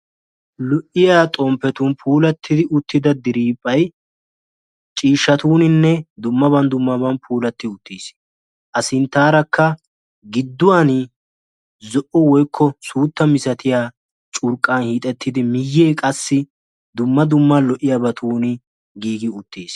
lo'iyaa xomppetuni giigida diriphay ciishatunine dumma dumma baani giigi uttisi assintarakka giduwani zo"o curqani hiixeti uttisi miyekka dumma dumma lo"iyabani giigi uttisi.